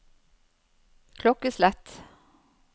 klokkeslett